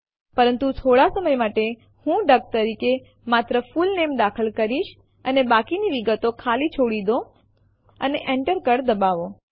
પરંતુ થોડા સમય માટે હું ડક તરીકે માત્ર ફુલ નામે દાખલ કરીશ અને બાકીની વિગતો ખાલી છોડી દો અને Enter કળ દબાવો